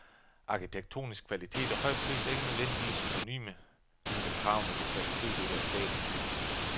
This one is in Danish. Arkitektonisk kvalitet og høj pris er ikke nødvendigvis synonyme, ligesom kravene til kvalitet ikke er statiske.